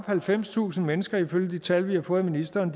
halvfemstusind mennesker ifølge de tal vi har fået af ministeren